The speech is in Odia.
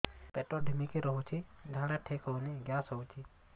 ପେଟ ଢିମିକି ରହୁଛି ଝାଡା ଠିକ୍ ହଉନି ଗ୍ୟାସ ହଉଚି